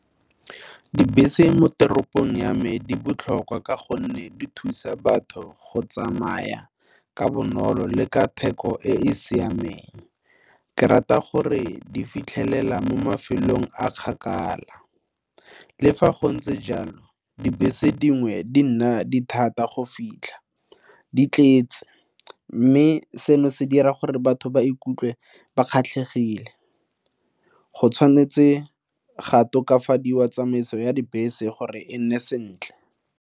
Dibese mo toropong ya me di botlhokwa ka gonne di thusa batho go tsamaya ka bonolo le ka theko e e siameng. Ke rata gore di fitlhelela mo mafelong a kgakala le fa go ntse jalo dibese dingwe di nna dithata go fitlha di tletse mme seno se dira gore batho ba ikutlwe ba kgatlhegile, go tshwanetse ga tokafadiwa tsamaiso ya dibese gore e nne sentle.